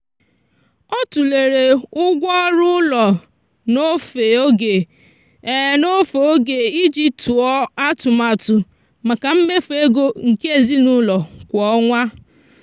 ọ tụlere ụgwọ ọrụ ụlọ n'ofe oge n'ofe oge iji tụọ atụmatụ maka mmefu ego nke ezinụụlọ kwa ọnwa.